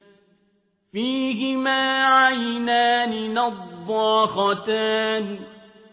فِيهِمَا عَيْنَانِ نَضَّاخَتَانِ